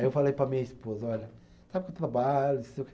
Aí eu falei para a minha esposa, olha, sabe que eu trabalho, não sei o quê.